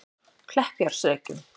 Kleppjárnsreykjum